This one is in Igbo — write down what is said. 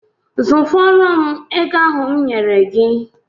Zụfọrọ m ego ahụ m nyere gị!